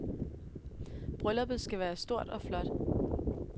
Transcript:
Brylluppet skal være stort og flot.